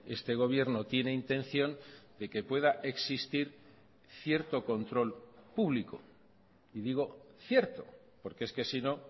este gobierno tiene intención de que pueda existir cierto control público y digo cierto porque es que sino